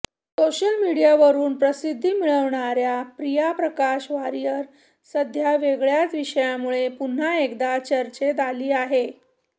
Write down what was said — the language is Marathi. सोशल मीडियावरून प्रसिद्धी मिळवणाऱ्या प्रिया प्रकाश वारियर सध्या वेगळ्याच विषयामूळे पुन्हा एकदा चर्चेत आली आहे